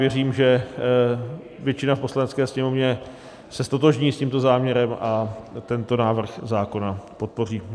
Věřím, že většina v Poslanecké sněmovně se ztotožní s tímto záměrem a tento návrh zákona podpoří.